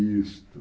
Isto.